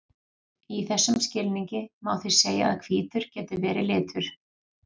í þessum skilningi má því segja að hvítur geti verið litur